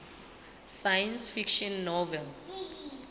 science fiction novel